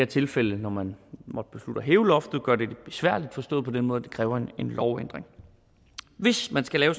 tilfælde når man måtte beslutte at hæve loftet gør det lidt besværligt forstået på den måde at det kræver en lovændring hvis man skal lave